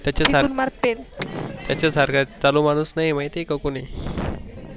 त्याच्या सारखं चालू माणूस नाही माहित आहे का कोणी.